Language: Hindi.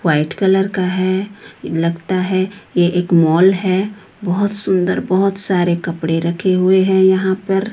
व् व्हाइट कलर का हैं लगता है ये एक मॉल है बहोत सुंदर बहोत सारे कपड़े रखे हुए हैं यहां पर।